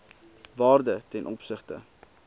waarde ten opsigte